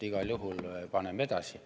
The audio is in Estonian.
Igal juhul paneme edasi.